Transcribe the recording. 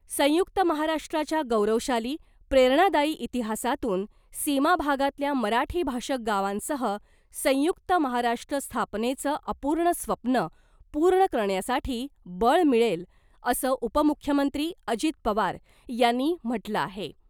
संयुक्त महाराष्ट्राच्या गौरवशाली , प्रेरणादायी इतिहासातून सीमाभागातल्या मराठीभाषक गावांसह संयुक्त महाराष्ट्र स्थापनेचं अपूर्ण स्वप्न पूर्ण करण्यासाठी बळ मिळेल , असं उपमुख्यमंत्री अजित पवार यांनी म्हटलं आहे .